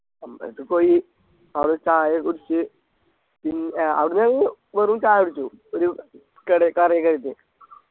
അമ്പലത്തി പോയി അവിട ചായക്കെ കുടിച്ച് പിൻ ഏർ അവിടുന്നൊരു വെറും ചായ കുടിച്ചു ഒരു കടെ കേറി കഴിഞ്ഞിട്ട്